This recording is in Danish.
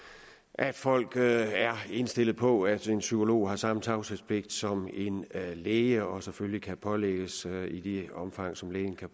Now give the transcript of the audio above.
at folk er er indstillet på at en psykolog har samme tavshedspligt som en læge og selvfølgelig kan pålægges i det omfang som lægen kan